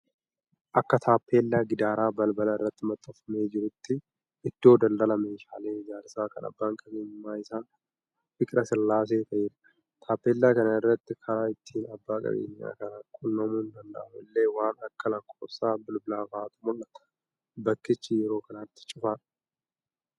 Akka taappellaa gidaara balbalaa irratti maxxanfamee jiruutti, iddoo daldalaa meeshaalee ijaarsaa kan abbaan qabeenyummaa isaa Fiqirasillaasee ta'eedha. Taappellaa kana irra karaa ittiin abbaa qabeenyaa kana qunnamuun danda'amu illee, waan akka lakkoofsa bilbilaafaatu mul'ata. Bakkichi yeroo kanatti cufaadha.